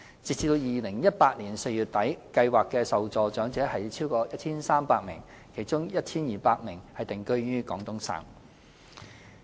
截至2018年4月底，計劃的受助長者超過 1,300 名，其中 1,200 名定居於廣東省。